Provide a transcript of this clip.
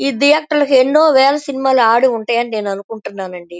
ఈ ధియేటర్ లో ఎనో వేలా సినిమాలు అడి ఉంటే అని నేన్ అనుకుంటున్నానండి.